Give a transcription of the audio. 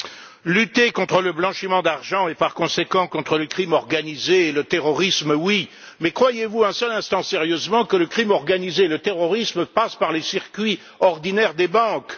Monsieur le Président, lutter contre le blanchiment d'argent et, par conséquent, contre le crime organisé et le terrorisme, oui! Mais croyez vous un seul instant sérieusement que le crime organisé et le terrorisme passent par les circuits ordinaires des banques?